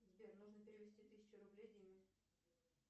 сбер нужно перевести тысячу рублей диме